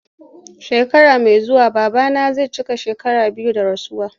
Shekara mai zuwa babana zai cika shekaru biyu da rasuwa.